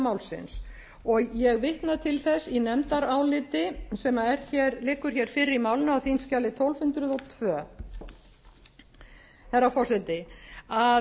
málsins og ég vitna til þess í nefndaráliti sem liggur hér fyrir í málinu á þingskjali tólf hundruð og tvö herra forseti að